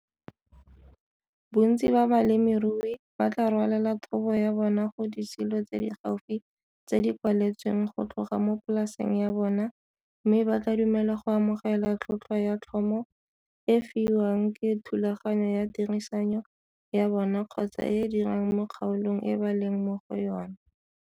Bontsi ba balemirui ba tlaa rwalela thobo ya bona go disilo tse di gaufi tse di kwaletsweng go tloga mo polaseng ya bona mme ba tlaa dumela go amogela tlhotlhwa ya tlhomo e e fiwang ke thulaganyo ya tirisanyo ya bona kgotsa e e dirang mo kgaolong e ba leng mo go yona.